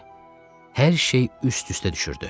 Hər şey üst-üstə düşürdü.